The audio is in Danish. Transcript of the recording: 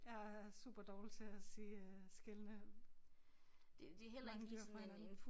Jeg er superdårlig til at se øh skelne mange dyr fra hinanden